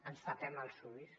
ens tapem el ulls